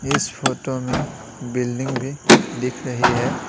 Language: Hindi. इस फोटो में बिल्डिंग भी दिख रही है।